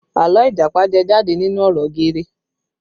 Àlọ́ Ìjàpá jẹ jáde nínú ọ̀rọ̀ geere